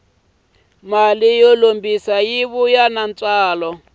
mali yo lombisa yi vuya ni ntswalo